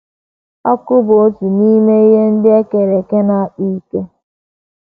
Ọkụ bụ otu n’ime ihe ndị e kere eke na - akpa ike.